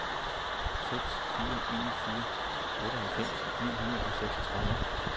seks fire en fire otteoghalvfems ni hundrede og seksogtredive